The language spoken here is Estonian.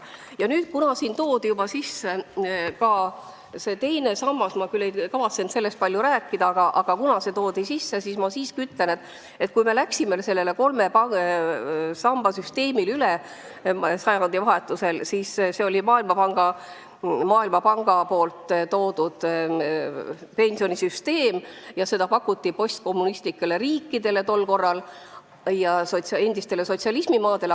Ja nüüd, kuna siin võeti jutuks ka teine sammas – ma küll ei kavatsenud sellest rääkida –, siis ma ütlen, et kui me läksime sajandivahetusel üle kolme samba süsteemile, siis lähtusime Maailmapanga pakutud pensionisüsteemist, mida soovitati endistele sotsialismimaadele.